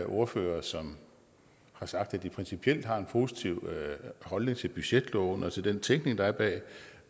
ordførere som har sagt at de principielt har en positiv holdning til budgetloven og til den tænkning der er bag